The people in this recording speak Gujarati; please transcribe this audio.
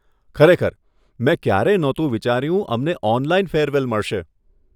ખરેખર, મેં ક્યારેય નહોતું વિચાર્યું અમને ઓનલાઈન ફેરવેલ મળશે.